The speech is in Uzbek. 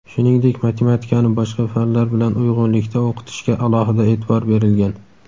shuningdek matematikani boshqa fanlar bilan uyg‘unlikda o‘qitishga alohida e’tibor berilgan.